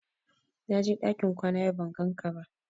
Na je ɗakin kwana yau ban gan ka ba